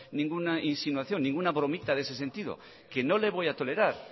ninguna insinuación ninguna bromita de ese sentido que no le voy a tolerar